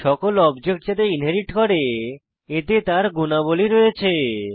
সকল অবজেক্ট যাতে ইনহেরিট করে এতে তার গুণাবলী রয়েছে